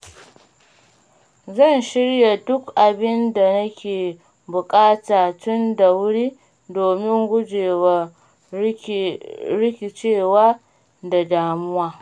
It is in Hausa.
Zan shirya duk abin da nake buƙata tun da wuri domin gujewa rikicewa da damuwa.